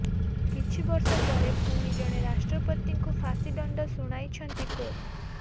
କିଛି ବର୍ଷ ପରେ ପୁଣି ଜଣେ ରାଷ୍ଟ୍ରପତିଙ୍କୁ ପାଶୀଦଣ୍ଡ ଶୁଣାଇଛନ୍ତି କୋର୍ଟ